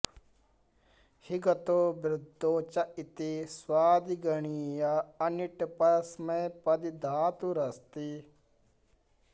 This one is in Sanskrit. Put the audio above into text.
हि गतौ वृद्धौ च इति स्वादिगणीय अनिट् परस्मैपदी धातुरस्ति